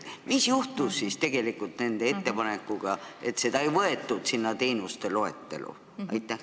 Mis juhtus nende ettepanekuga, et seda ei võetud teenuste loetellu?